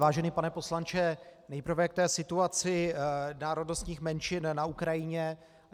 Vážený pane poslanče, nejprve k té situaci národnostních menšin na Ukrajině.